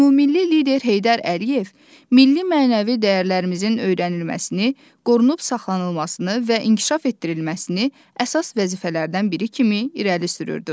Ümumilli lider Heydər Əliyev milli-mənəvi dəyərlərimizin öyrənilməsini, qorunub saxlanılmasını və inkişaf etdirilməsini əsas vəzifələrdən biri kimi irəli sürürdü.